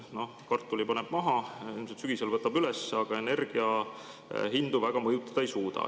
Noh, kartuli paneb maha, sügisel võtab üles, aga energia hindu väga mõjutada ei suuda.